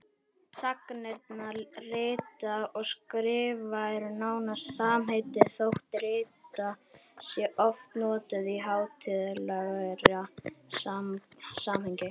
Sagnirnar rita og skrifa eru nánast samheiti þótt rita sé oft notuð í hátíðlegra samhengi.